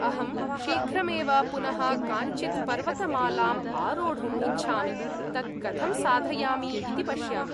अहं शीघ्रमेव पुनः काञ्चित् पर्वतमालाम् आरोढुम् इच्छामि, तत् कथं साधयामि इति पश्यामि।